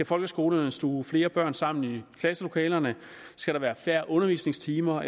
folkeskolerne stuve flere børn sammen i klasselokalerne skal der være færre undervisningstimer